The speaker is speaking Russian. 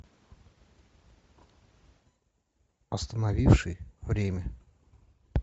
остановивший время